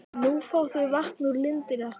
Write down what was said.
Nú fá þau vatn úr lindinni okkar.